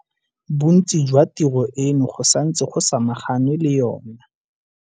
Bontsi jwa tiro eno go santse go samaganwe le yona.